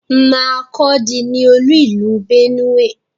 Makurdi ni olú ìlú Benue.